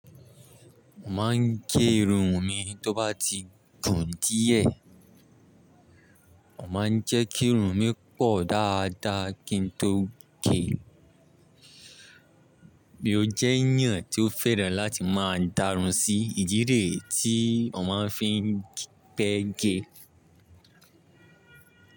Mo máa ń gé irun mi tó bá ti gùn díẹ̀. Mo máa ń jẹ́ kí irun mi pọ̀ dáadáa kí n tó gé. Mo jẹ́ eeyàn tí ó fẹ́ràn láti máa dárún sí ìdí rẹ̀ tí mọ̀ máa ń fi ń pẹ́ ge.